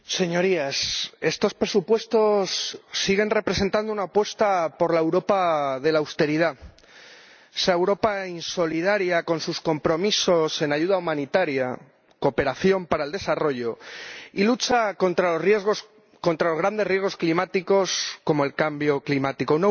Señor Presidente, Señorías, estos presupuestos siguen representando una apuesta por la Europa de la austeridad, esa Europa insolidaria con sus compromisos en ayuda humanitaria, cooperación para el desarrollo y lucha contra los grandes riesgos climáticos, como el cambio climático